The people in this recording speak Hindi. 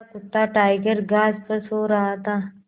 मेरा कुत्ता टाइगर घास पर सो रहा था